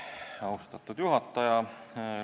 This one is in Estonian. Austatud juhataja!